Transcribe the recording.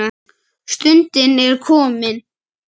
Stundin er komin.